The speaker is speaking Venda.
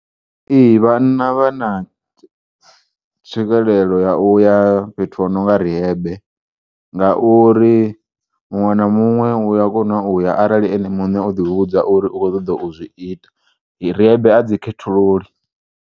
Ee, vhanna vhana tswikelelo ya uya fhethu ho nonga rihebe ngauri muṅwe na muṅwe uya kona uya arali ene mune oḓi vhudza uri u kho u ṱoḓa uzwi ita rihebe a dzi khethululi.